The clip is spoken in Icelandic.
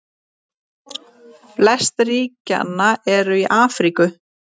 Flest ríkjanna eru í Afríku.